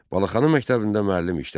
Balaxanı məktəbində müəllim işlədi.